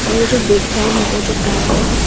और ये जो बैकग्राउंड है वो जो काला है।